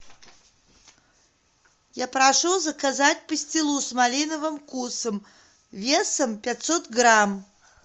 я прошу заказать пастилу с малиновым вкусом весом пятьсот грамм